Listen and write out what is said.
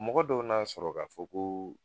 Mɔgɔ dɔw n'a sɔrɔ k'a fɔ ko